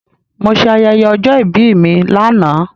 Mo se ayẹyẹ ọjọ́ ìbí mi lánàá